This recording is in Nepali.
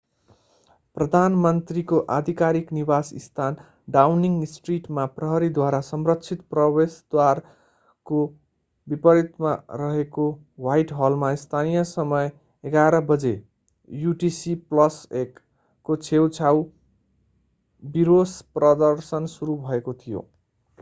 प्रधानमन्त्रीको आधिकारिक निवासस्थान डाउनिङ स्ट्रिटमा प्रहरीद्वारा संरक्षित प्रवेशद्वारको विपरीत रहेको ह्वाइटहलमा स्थानीय समय 11:00 बजे युटिसी+1 को छेउछाउ विरोश-प्रदर्शन सुरु भएको थियो।